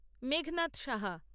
Meghnad Saha